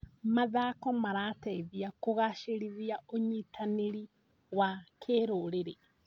Mathako marateithia kũgacĩrithia ũnyitanĩri wa kĩrũrĩrĩ.